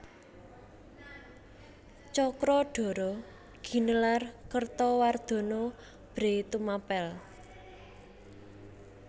Cakradhara ginelar Kertawardhana Bhre Tumapèl